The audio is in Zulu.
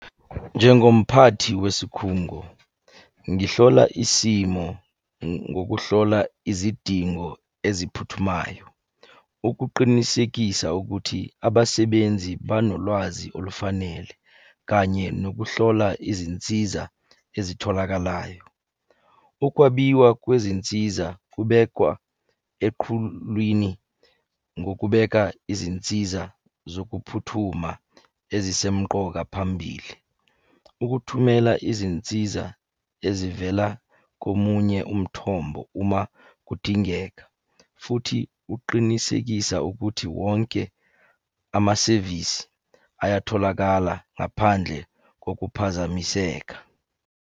Njengomphathi wesikhungo, ngihlola isimo ngokuhlola izidingo eziphuthumayo. Ukuqinisekisa ukuthi abasebenzi banolwazi olufanele, kanye nokuhlola izinsiza ezitholakalayo. Ukwabiwa kwezinsiza kubekwa eqhulwini ngokubeka izinsiza zokuphuthuma ezisemqoka phambili. Ukuthumela izinsiza ezivela komunye umthombo uma kudingeka, futhi kuqinisekisa ukuthi wonke amasevisi ayatholakala ngaphandle kokuphazamiseka.